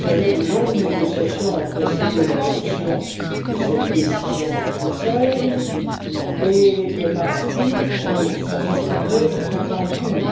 De longues négociations ont précédé l'adoption de cette décision du Conseil, et les préparatifs pour sa mise en œuvre sont en cours.